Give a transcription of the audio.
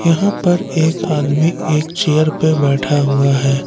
यहां पर एक आदमी एक चेयर पे बैठा हुआ है।